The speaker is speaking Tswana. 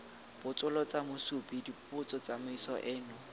botsolotsa mosupi dipotso tsamaiso eno